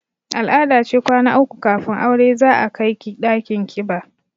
Al-ada ce kwana uku kafin aure za a kai ki ɗakin ƙiba